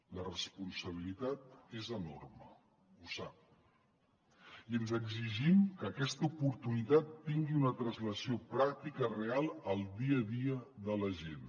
la responsabilitat és enorme ho sap i ens exigim que aquesta oportunitat tingui una translació pràctica real al dia a dia de la gent